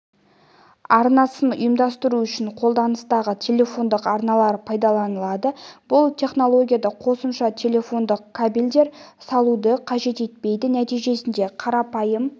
арнасын ұйымдастыру үшін қолданыстағы телефондық арналар пайдаланылады бұл технологияда қосымша телефондық кабельдер салуды қажет етпейді нәтижесінде қарапайым